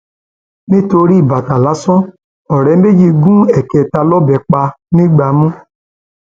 nítorí bàtà lásán ọrẹ méjì gún èkélànè lọbẹ pa nìgbàmù